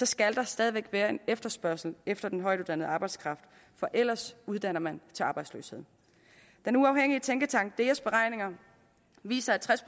skal der stadig væk være en efterspørgsel efter den højtuddannede arbejdskraft for ellers uddanner man til arbejdsløshed den uafhængige tænketank deas beregninger viser at tres